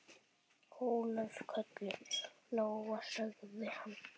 Ólöf, kölluð Lóa, sagði hann.